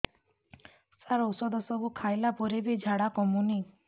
ସାର ଔଷଧ ସବୁ ଖାଇଲା ପରେ ବି ଝାଡା କମୁନି